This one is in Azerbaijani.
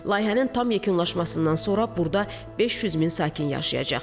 Layihənin tam yekunlaşmasından sonra burda 500 min sakin yaşayacaq.